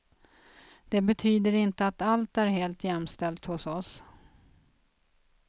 Det betyder inte att allt är helt jämställt hos oss.